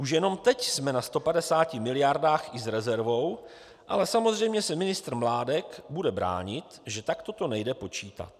Už jenom teď jsme na 150 miliardách i s rezervou, ale samozřejmě se ministr Mládek bude bránit, že takto to nejde počítat.